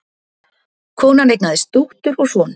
Konan eignaðist dóttur og son